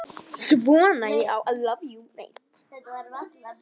Svona já.